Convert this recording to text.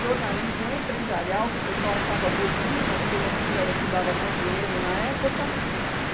jornalismo empresarial, que o pessoal achava bobinho, mas pelo menos era o que dava mais dinheiro na época.